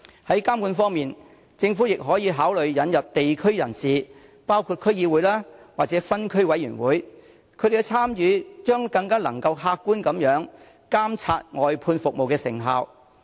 在監管方面，政府亦可考慮引入地區人士的參與，包括區議會及分區委員會，他們的參與將能更客觀地監察外判服務的成效。